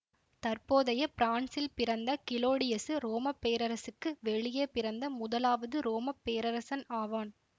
தற்போதைய பிரான்சில் பிறந்த கிளோடியசு ரோம பேரரசுக்கு வெளியே பிறந்த முதலாவது ரோம பேரரசன் ஆவான்